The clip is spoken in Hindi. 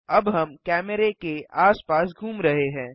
अब हम कैमरे के आसपास घूम रहे हैं